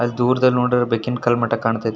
ಅಲ್ಲಿ ದೂರದಲ್ಲಿ ನೋಡಿದರೆ ಬೆಕ್ಕಿನ ಕರ್ಮಠ ಕಾಣತೈತಿ.